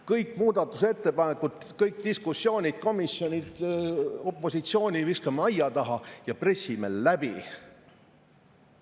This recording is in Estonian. Kõik muudatusettepanekud, kõik diskussioonid, komisjonid, opositsioon visatakse aia taha ja pressitakse läbi.